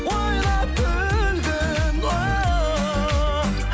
ойнап күлгін ооо